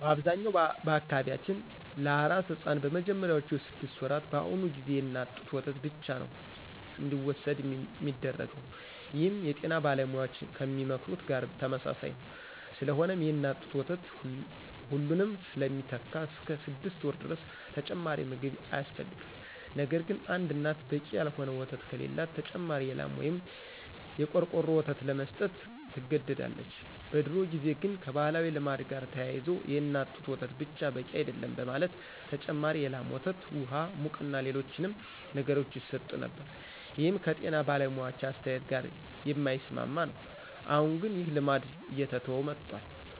በአብዛኛው በአካባቢያችን ለአራስ ሕፃን በመጀመሪያዎቹ ስድስት ወራት በአሁኑ ጊዜ የእናት ጡት ወተት ብቻ ነዉ እንዲወስድ ሚደረገው ይህም የጤና ባለሙያዎች ከሚመክሩት ጋር ተመሳሳይ ነዉ። ስለሆነም የእናት ጡት ወተት ሁሉንም ስለሚተካ እስከ ስድስት ወር ድረስ ተጨማሪ ምግብ አያስፈልግም። ነገርግን አንድ እናት በቂ ያልሆነ ወተት ከሌላት ተጨማሪ የላም ወይም የቆርቆሮ ወተት ለመስጠት ትገደዳለች። በድሮ ጊዜ ግን ከባህላዊ ልማድ ጋር ተያይዞ የእናት ጡት ወተት ብቻ በቂ አይደለም በማለት ተጨማሪ የላም ወተት፣ ውሃ፣ ሙቅና ሌሎችንም ነገሮች ይሰጡ ነበር ይህም ከጤና ባለሙያዎች አስተያየት ጋር የማይስማማ ነው። አሁን ግን ይህ ልማድ እየተተወ መጥቷል።